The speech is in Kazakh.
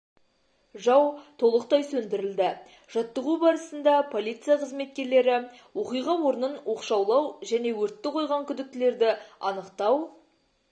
жау толықтай сөндірілді жаттығу барысында полиция қызметкерлері оқиға орнын оқшаулау және өртті қойған күдіктілерді анықтау